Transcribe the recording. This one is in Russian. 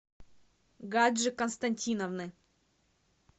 гаджи константиновны